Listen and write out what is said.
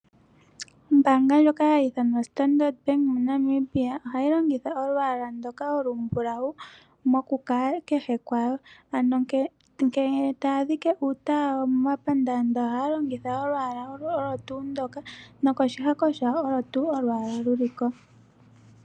Ombaanga ndjoka hayi ithanwa Standard Bank moNamibia ohayi longitha olwaala ndoka olumbulawu moku kala kehe kwano, ano ngele taya dhike uutala wawo momapandaandaa ohaya longitha olwaala olo tuu ndoka nokoshihako shawo olo tuu olwaala luliko.